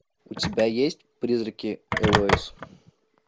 у тебя есть призраки элоиз